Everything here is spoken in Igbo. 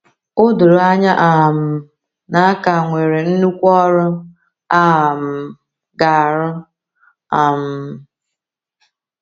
O doro anya um na a ka nwere nnukwu ọrụ a um ga - arụ. um